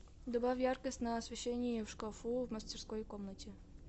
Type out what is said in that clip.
добавь яркость на освещении в шкафу в мастерской комнате